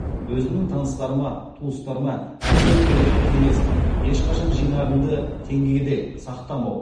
өзімнің таныстарыма туыстарыма әрдайым беретін кеңесім ешқашан жинағыңды теңгеде сақтамау